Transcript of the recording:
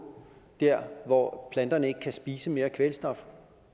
der hvor planterne ikke kan spise mere kvælstof